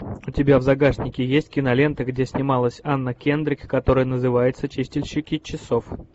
у тебя в загашнике есть кинолента где снималась анна кендрик которая называется чистильщики часов